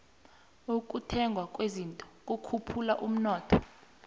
ukuthengwa kwezinto kukhuphula umnotho